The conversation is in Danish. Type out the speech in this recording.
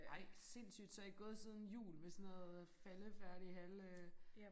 Ej sindssygt så I gået siden jul med sådan noget faldefærdigt halv øh